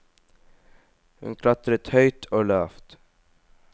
Hun klatrer høyt og lavt.